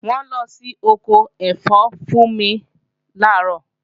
Wọ́n lọ sí ọkọ ẹ̀fọ́ Fúnmi làárọ̀